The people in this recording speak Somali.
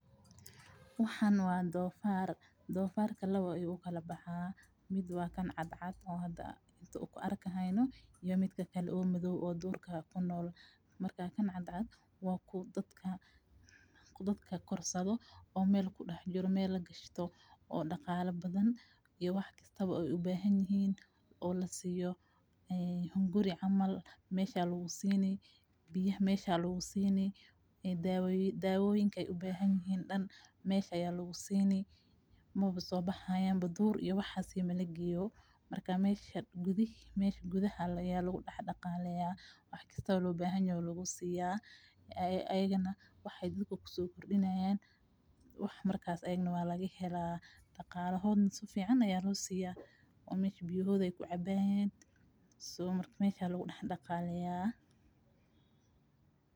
Waxan waa donfaar. Donfarka lawa ayu ukala baxa; mid waa kan cadcad oo hada an arkayno iyo midakale oo midhaw oo durka kunool. Marka kaan cadcad wa kuwa dadka korsadho oo meel kudax jiro meel lagashto oo dagala badhan oo wax kastaba ay ubahanyihin oo lasiyo hunguri camal meesha aya lagusini biyaha mesha aya lagusini dawoyinka ay ubahanyihiin darka mesha aya lagusini mwaba soo baxayan duur iyo waxas mala geyo marka mesha gudaha aya lagudax dagaleya wax kastaba loo bahanyah aya lagusiya ayaga na wax daadko kusokordinayan wax markaas ayaka na waa lagahelaa dagalohoodha safican ayaa lagusiya oo mesha biyohodha ay kucabayan so marka mesha aya lagu daxdagaleya.